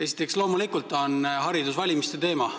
Esiteks, loomulikult on haridus valimiste teema.